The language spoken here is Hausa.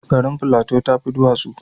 Garin Plateau ta fi duwatsu